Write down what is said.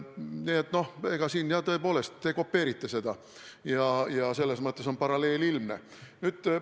Nii et siin te tõepoolest kopeerite seda ja selles mõttes on paralleel ilmne.